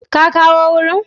Ka kawkoc wurin.